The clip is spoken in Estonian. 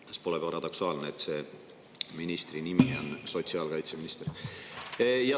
Kas pole paradoksaalne, et selle ministri on sotsiaalkaitseminister?